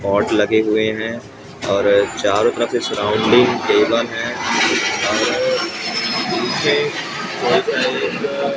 bot लगे हुए हैं और चारों तरफ से सराउडिंग टेबल हैं और पीछे कोई सा एक--